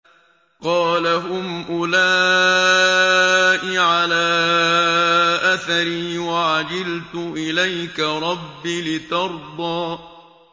قَالَ هُمْ أُولَاءِ عَلَىٰ أَثَرِي وَعَجِلْتُ إِلَيْكَ رَبِّ لِتَرْضَىٰ